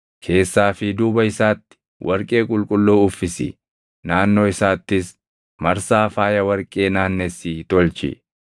Keessaa fi duuba isaatti warqee qulqulluu uffisi; naannoo isaattis marsaa faaya warqee naannessii tolchi.